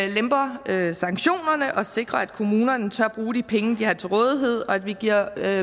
lemper sanktionerne og sikrer at kommunerne tør bruge de penge de har til rådighed og at vi giver